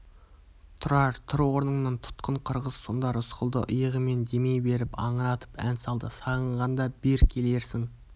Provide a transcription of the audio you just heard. тұрар тұр орныңнан тұтқын қырғыз сонда рысқұлды иығымен демей беріп аңыратып ән салды сағынғанда бир келерсің